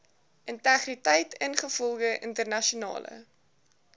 integriteit ingevolge internasionale